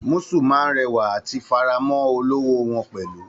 Musù máa n rẹwa àti f'ara mọ olówó wọn pẹlú.